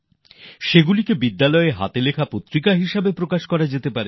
সেগুলি স্কুল থেকে হাতে লেখা পত্রিকা হিসাবে প্রকাশিত হতে পারে